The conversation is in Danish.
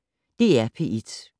DR P1